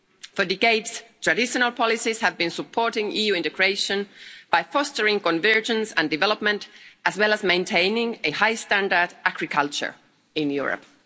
For decades, traditional policies have been supporting EU integration by fostering convergence and development as well as maintaining high standard agriculture in Europe.